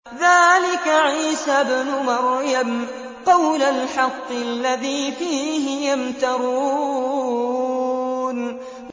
ذَٰلِكَ عِيسَى ابْنُ مَرْيَمَ ۚ قَوْلَ الْحَقِّ الَّذِي فِيهِ يَمْتَرُونَ